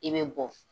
I bɛ bɔ